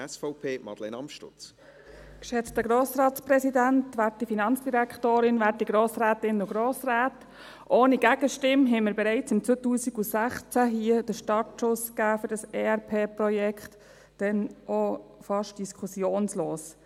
Wir haben Startschuss für dieses ERP-Projekt hier bereits im 2016 ohne Gegenstimme den gegeben, damals auch fast diskussionslos.